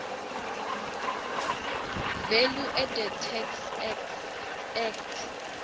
valueadded tax act